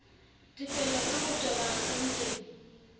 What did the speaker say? tefello ka ho toba akhaonteng